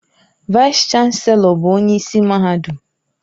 Vaịs-Chanelọ bụ onye isi mahadum